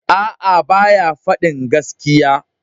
Aa, ba ya fadin gaskiya.